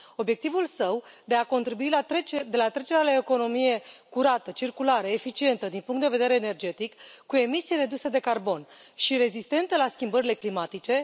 Obiectivul său este de a contribui la trecerea la o economie curată, circulară, eficientă din punct de vedere energetic, cu emisii reduse de carbon și rezistentă la schimbările climatice.